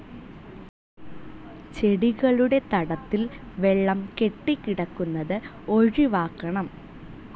ചെടികളുടെ തടത്തിൽ വെള്ളം കെട്ടിക്കിടക്കുന്നത് ഒഴിവാക്കണം.